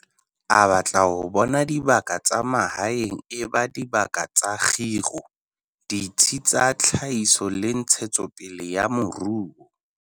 A batla ho bona dibaka tsa mahaeng e ba dibaka tsa kgiro, ditsi tsa tlhahiso le ntshetso pele ya moruo.